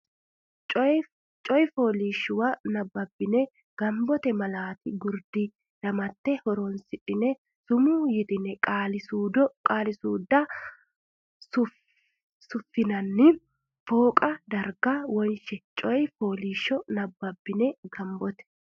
coy fooliishshuwa nabbabbine gombote mallati gurdi damatte horonsidhine sumuu yitanno qaali suudda suffinanni fooqa darga wonshe coy fooliishshuwa nabbabbine gombote.